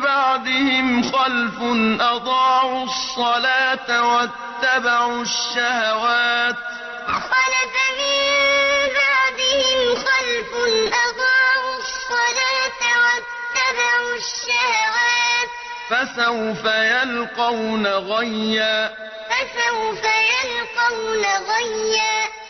بَعْدِهِمْ خَلْفٌ أَضَاعُوا الصَّلَاةَ وَاتَّبَعُوا الشَّهَوَاتِ ۖ فَسَوْفَ يَلْقَوْنَ غَيًّا ۞ فَخَلَفَ مِن بَعْدِهِمْ خَلْفٌ أَضَاعُوا الصَّلَاةَ وَاتَّبَعُوا الشَّهَوَاتِ ۖ فَسَوْفَ يَلْقَوْنَ غَيًّا